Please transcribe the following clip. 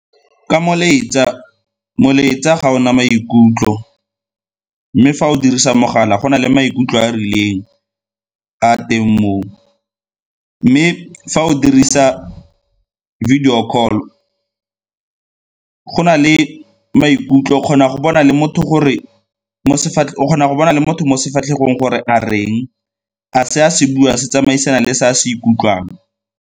Ka molaetsa, molaetsa ga o na maikutlo mme fa o dirisa mogala go na le maikutlo a a rileng a a teng moo. Mme fa o dirisa video call, go na le maikutlo, o kgona go bona le motho mo sefatlhego gore a reng, a se a se buang se tsamaisana le se a se ikutlwang.